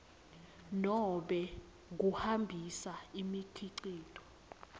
nobe kuhambisa imikhicito